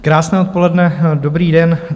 Krásné odpoledne, dobrý den.